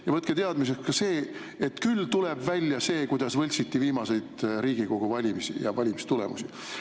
Ja võtke teadmiseks ka see, et küll tuleb välja see, kuidas võltsiti viimaseid Riigikogu valimisi ja valimistulemusi.